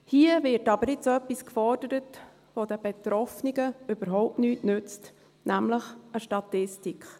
Hier wird jetzt aber etwas gefordert, das den Betroffenen überhaupt nichts nützt, nämlich eine Statistik.